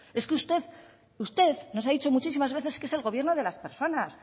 es que usted usted nos ha dicho muchísimas veces que es el gobierno de las personas